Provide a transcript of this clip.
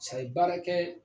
baara kɛ.